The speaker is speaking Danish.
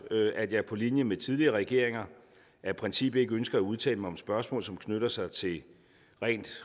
at jeg på linje med tidligere regeringer af princip ikke ønsker at udtale mig om spørgsmål som knytter sig til rent